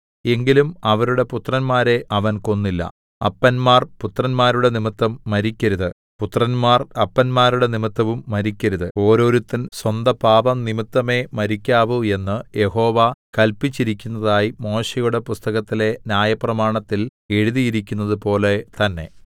എങ്കിലും അവരുടെ പുത്രന്മാരെ അവൻ കൊന്നില്ല അപ്പന്മാർ പുത്രന്മാരുടെ നിമിത്തം മരിക്കരുത് പുത്രന്മാർ അപ്പന്മാരുടെ നിമിത്തവും മരിക്കരുത് ഓരോരുത്തൻ സ്വന്ത പാപം നിമിത്തമേ മരിക്കാവു എന്ന് യഹോവ കല്പിച്ചിരിക്കുന്നതായി മോശെയുടെ പുസ്തകത്തിലെ ന്യായപ്രമാണത്തിൽ എഴുതിയിരിക്കുന്നതുപോലെ തന്നേ